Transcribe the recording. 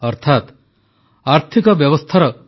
ସବୁ ପ୍ରକାର ସତର୍କତା ସହିତ ବିମାନଗୁଡ଼ିକ ମଧ୍ୟ ଉଡ଼ାଣ ଆରମ୍ଭ କଲେଣି